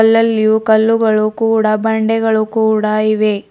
ಅಲ್ಲಲ್ಲಿಯು ಕಲ್ಲುಗಳು ಕೂಡ ಬಂಡೆಗಳು ಕೂಡ ಇವೆ.